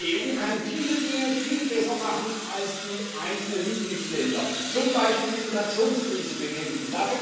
Die EU kann viele Dinge viel besser machen als die einzelnen Mitgliedstaaten, zum Beispiel die Migrationskrise bekämpfen.